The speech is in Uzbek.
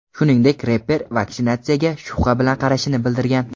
Shuningdek, reper vaksinatsiyaga shubha bilan qarashini bildirgan.